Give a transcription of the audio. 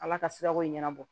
Ala ka sirako ɲɛnabɔ